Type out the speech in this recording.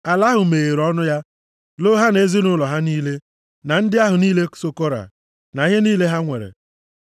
ala ahụ meghere ọnụ ya, loo ha, na ezinaụlọ ha niile, na ndị ahụ niile so Kora, na ihe niile ha nwere.